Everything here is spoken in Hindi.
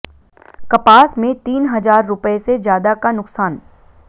कपास में तीन हजार रुपए से ज्यादा का नुकसान